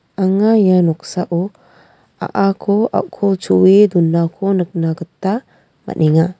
anga ia noksao a·ako a·kol cho·e donako nikna gita man·enga.